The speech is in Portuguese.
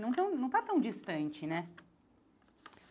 Não está tão distante, né?